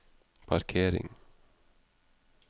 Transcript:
parkering